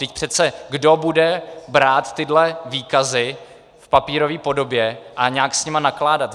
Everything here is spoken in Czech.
Vždyť přece kdo bude brát tyhle výkazy v papírové podobě a nějak s nimi nakládat?